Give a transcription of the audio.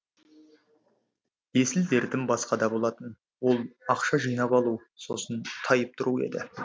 есіл дертім басқада болатын ол ақша жинап алу сосын тайып тұру еді